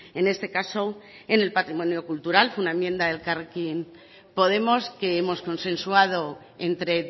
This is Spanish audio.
en este caso en el patrimonio cultural fue una enmienda de elkarrekin podemos que hemos consensuado entre